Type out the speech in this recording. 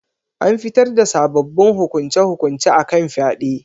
An fitar da sabbabin hukunce-hukunce akan fyade